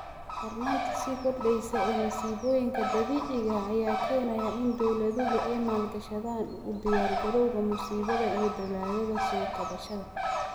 Darnaanta sii kordheysa ee masiibooyinka dabiiciga ah ayaa keenaya in dowladuhu ay maalgashadaan u diyaargarowga musiibada iyo dadaallada soo kabashada.